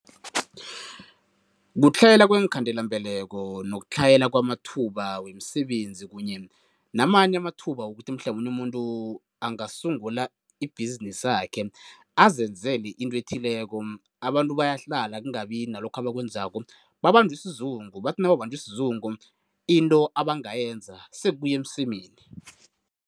Kutlhayela kweenkhandelambeleko nokutlhayela kwamathuba wemisebenzi kunye namanye amathuba wokuthi mhlamunye umuntu angasungula ibhizinisakhe, azenzela into ethileko. Abantu bayahlala kungabi nalokho abakwenzako, babanjwe sizungu bathi nababanjwe sizungu, into abangayenza sekuya emsemeni.